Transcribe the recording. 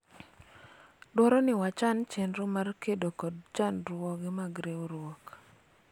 dwaro ni wachan chenro mar kedo kod chandruoge mag riwruok